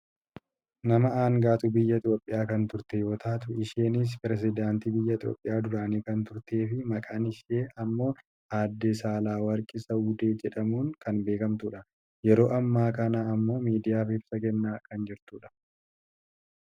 nama angaatuu biyya Itoopiyaa kan turte yoo taatu isheenis perisedaantii biyyattii duraanii kan turtee fi maqaan ishee ammoo aadde Saalawarqi Zawudee jedhamuun kan beekkamtudha. yeroo ammaa kana ammoo miidiyaaf ibsa kennaa kan jirtudha.